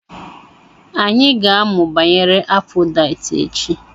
Anyị ga-amụ banyere Afodaịt echi.